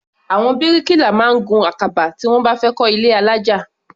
Àwọn bíríkìlà máa ń gun àkàbà tí wọ́n bá fẹ́ kọ́ ilé alájà.